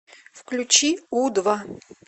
включи у два